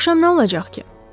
Axşam nə olacaq ki?